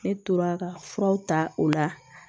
Ne tora ka furaw ta o la